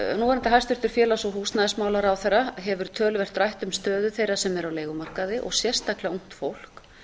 núverandi hæstvirts félags og húsnæðismálaráðherra hefur töluvert rætt um stöðu þeirra sem eru á leigumarkaði og sérstaklega ungt fólk